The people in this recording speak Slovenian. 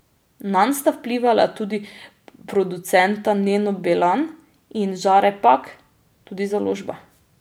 Nanj sta vplivala tudi producenta Neno Belan in Žare Pak, tudi založba.